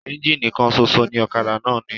Ẹ́ńjínì kan ṣoṣo ni ọ̀kadà náà ní.